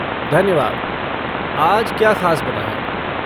धन्यवाद, आज क्या ख़ास बना है?